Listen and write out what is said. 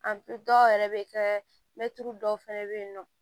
dɔw yɛrɛ bɛ kɛ mɛtiri dɔw fɛnɛ be yen nɔ